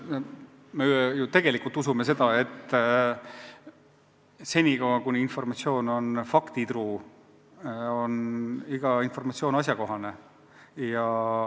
Me ju tegelikult usume, et kuni informatsioon on faktitruu, on igasugune informatsioon asjakohane.